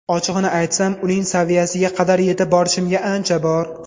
Ochig‘ini aytsam, uning saviyasiga qadar yetib borishimga ancha bor.